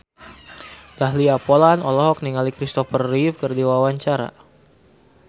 Dahlia Poland olohok ningali Christopher Reeve keur diwawancara